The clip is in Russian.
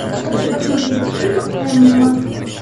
хочу посмотреть фильм эмма